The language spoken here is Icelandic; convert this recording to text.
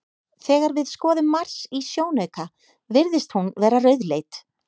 Þegar við skoðum Mars í sjónauka virðist hún vera rauðleit.